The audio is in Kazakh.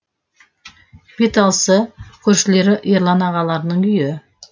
беталысы көршілері ерлан ағаларының үйі